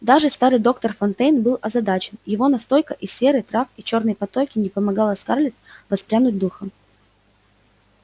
даже старый доктор фонтейн был озадачен его настойка из серы трав и чёрной патоки не помогала скарлетт воспрянуть духом